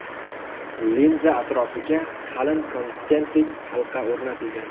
Linza atrofiga qalin konsentrik halqa o‘rnatilgan.